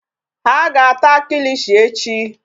Ha ga-ata kilishi echi.